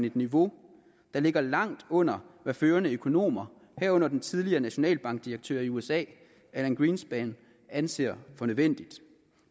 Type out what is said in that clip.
et niveau der ligger langt under hvad førende økonomer herunder den tidligere nationalbankdirektør i usa alan greenspan anser for nødvendigt